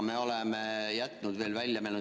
Me oleme sealt midagi välja jätnud.